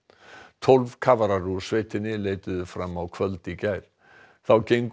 tólf kafarar úr sveitinni leituðu fram á kvöld í gær þá gengu